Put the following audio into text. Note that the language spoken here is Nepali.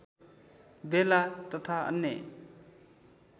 बेला तथा अन्य